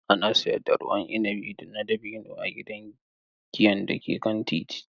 Ana siyar da ruwan inabi na dabino a gidan giyan da ke kan titi.